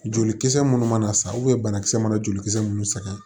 Jolikisɛ minnu mana sa banakisɛ mana joli kisɛ minnu sɛgɛn